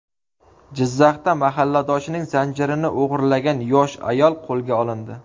Jizzaxda mahalladoshining zanjirini o‘g‘irlagan yosh ayol qo‘lga olindi.